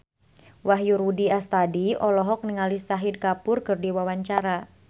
Wahyu Rudi Astadi olohok ningali Shahid Kapoor keur diwawancara